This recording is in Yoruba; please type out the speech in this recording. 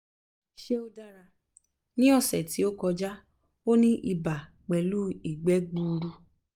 ṣé ó dára? ní ọ̀sẹ̀ tí ó kọjá ó ní ibà pẹ̀lú igbe gbuuru